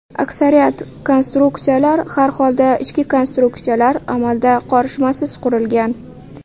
Aksariyat konstruksiyalar, har holda, ichki konstruksiyalar amalda qorishmasiz qurilgan.